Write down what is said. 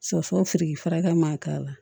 Sosofriki farakɛ man k'a la